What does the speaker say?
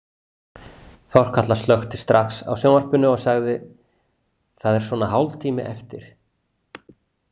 Þorkatla slökkti strax á sjónvarpinu og sagði: Það er svona hálftími eftir.